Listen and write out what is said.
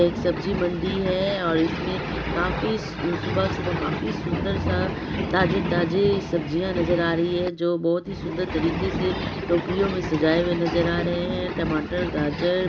एक सब्जी मंडी है और इसमें काफी सुबह-सुबह काफी सुन्दर सा ताजी-ताज़ी सब्जिया नजर आ रही है जो बहुत ही सुन्दर तरीके से टोकरियों में सजाये हुए नजर आ रहे है टमाटर गाजर--